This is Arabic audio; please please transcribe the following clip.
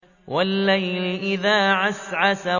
وَاللَّيْلِ إِذَا عَسْعَسَ